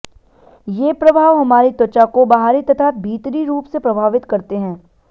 ये प्रभाव हमारी त्वचा को बाहरी तथा भीतरी रुप से प्रभावित करते हैं